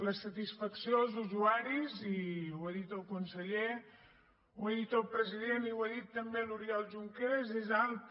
la satisfacció als usuaris i ho ha dit el conseller ho ha dit el president i ho ha dit també l’oriol junqueras és alta